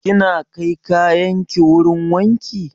Kina kai kayan ki wurin wanki?